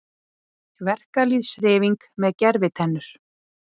Verkalýðshreyfing með gervitennur